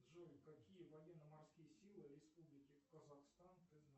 джой какие военно морские силы республики казахстан ты знаешь